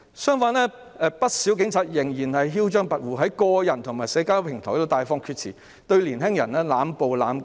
相反，不少警察仍然囂張跋扈，在個人和社交平台上大放厥辭，對年輕人濫暴和濫告。